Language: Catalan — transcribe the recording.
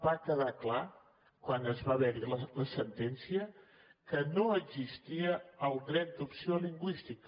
va quedar clar quan va haver hi la sentència que no existia el dret d’opció lingüística